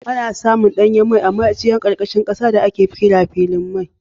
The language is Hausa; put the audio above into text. Ana samun danyen mai a ma'ajiyar karkashin kasa da ake kira filin mai